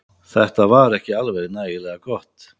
Þetta var ekki alveg nægilega gott